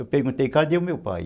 Eu perguntei, cadê o meu pai?